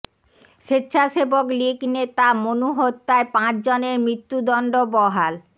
স্বেচ্ছাসেবক লীগ নেতা মনু হত্যায় পাঁচ জনের মৃত্যুদণ্ড বহাল